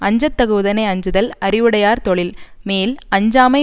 அஞ்சத்தகுவதனை அஞ்சுதல் அறிவுடையார் தொழில் மேல் அஞ்சாமை